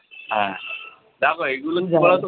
হ্যাঁ দেখো এইগুলো কি বলতো